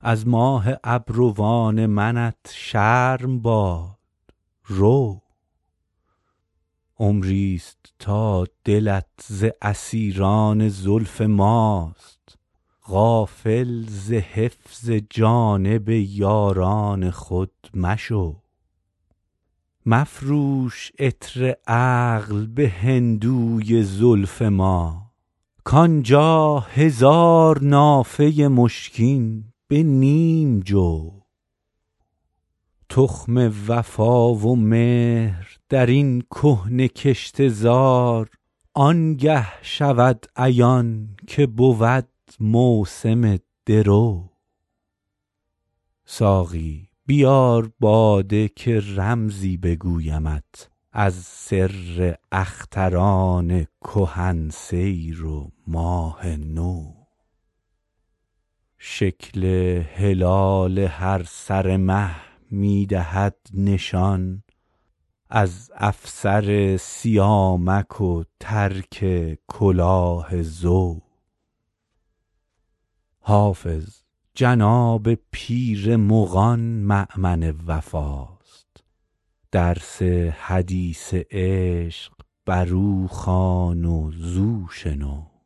از ماه ابروان منت شرم باد رو عمری ست تا دلت ز اسیران زلف ماست غافل ز حفظ جانب یاران خود مشو مفروش عطر عقل به هندوی زلف ما کان جا هزار نافه مشکین به نیم جو تخم وفا و مهر در این کهنه کشته زار آن گه عیان شود که بود موسم درو ساقی بیار باده که رمزی بگویمت از سر اختران کهن سیر و ماه نو شکل هلال هر سر مه می دهد نشان از افسر سیامک و ترک کلاه زو حافظ جناب پیر مغان مأمن وفاست درس حدیث عشق بر او خوان و زو شنو